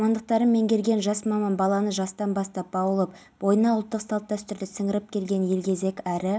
істер басқармасының учаскелік полиция инспекторы жолдасов және қарағанды қаласы ішкі істер басқармасы арнаулы мекемесінің полицейі